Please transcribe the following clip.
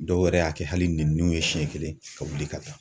Dɔw yɛrɛ y'a kɛ hali niw ye siɲɛ kelen ka wuli ka taa